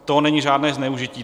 To není žádné zneužití.